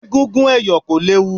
Egúngún ẹ̀yọ̀ kò léwu.